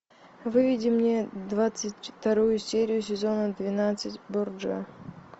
выведи мне двадцать вторую серию сезона двенадцать борджиа